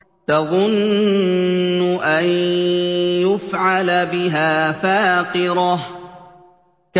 تَظُنُّ أَن يُفْعَلَ بِهَا فَاقِرَةٌ